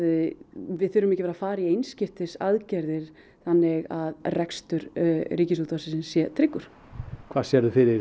við þurfum ekki að fara í einskiptisaðgerðir þannig að rekstur RÚV sé tryggur hvað sérðu fyrir